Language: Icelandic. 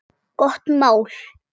Gott mál.